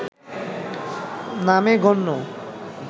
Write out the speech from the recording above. নামে গণ্য